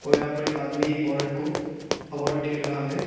और यहां पर एक आदमी एक औरत को अवार्ड दे रहा है।